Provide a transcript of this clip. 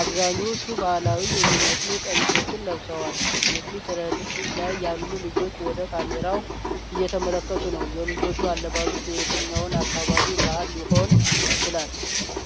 አብዛኞቹ ባህላዊ የሚመስሉ ቀሚሶችን ለብሰዋል። የፊት ረድፍ ላይ ያሉ ልጆች ወደ ካሜራው እየተመለከቱ ነው። ።የልጆቹ አለባበስ የየትኛው አካባቢ ባሕል ሊሆን ይችላል?